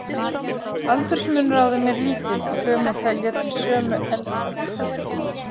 Aldursmunur á þeim er lítill, og þau má telja til sömu „elda“.